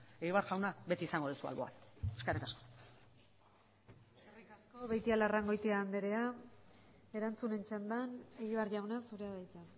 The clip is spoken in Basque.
egibar jauna beti izango duzu alboan eskerrik asko eskerrik asko beitialarrangoitia andrea erantzunen txandan egibar jauna zurea da hitza